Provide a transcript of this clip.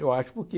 Eu acho porque...